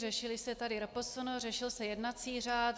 Řešila se tady RPSN, řešil se jednací řád.